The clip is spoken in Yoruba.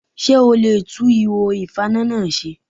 Ṣé o le e tún ihò ìfaná náà se?